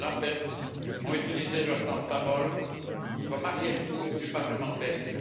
Lamberts ont utilisé leur temps de parole comme arrière cour du Parlement belge.